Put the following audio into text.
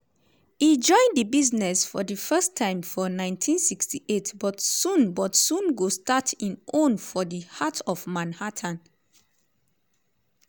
e join di business for di first time for 1968 but soon but soon go start im own for di heart of manhattan.